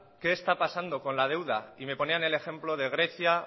qué está pasando con la deuda y me ponían el ejemplo de grecia